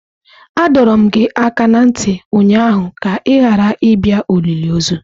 Adọrum gi aka na nti ụnyaahụ ka ị ghara ịbịa olili ozu!